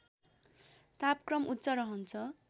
तापक्रम उच्च रहन्छ